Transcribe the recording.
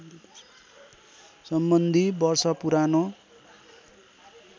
सम्बन्धी वर्ष पुरानो